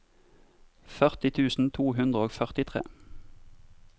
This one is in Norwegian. førti tusen to hundre og førtitre